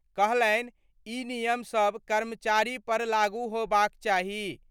कहलनि इ नियम सब कर्मचारी पर लागू होबाक चाही।